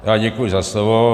Já děkuji za slovo.